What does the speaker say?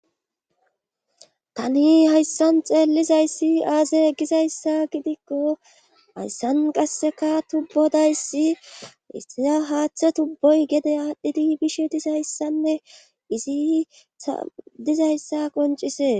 tani hayssan xeellizayssi aaze gizayssa gidikko hayssan qasseka tubbodayssi isia haaththe tubboy gede aadhdhidi bishe dizayssanne izi sadizayssa qoncisee